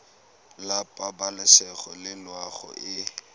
la pabalesego le loago e